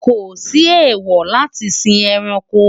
kò sí èwo láti sí ẹranko